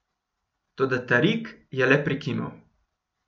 Toda Tarik je le prikimal.